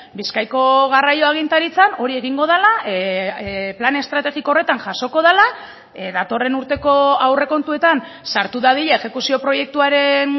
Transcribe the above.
bizkaiko garraio agintaritzan hori egingo dela plan estrategiko horretan jasoko dela datorren urteko aurrekontuetan sartu dadila exekuzio proiektuaren